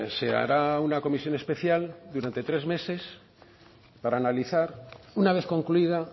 se hará una comisión especial durante tres meses para analizar una vez concluida